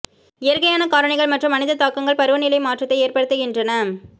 இயற்கையான காரணிகள் மற்றும் மனித தாக்கங்கள் பருவநிலை மாற்றத்தை ஏற்படுத்துகின்றன